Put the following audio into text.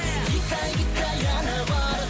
гиккәй гиккәй әні бар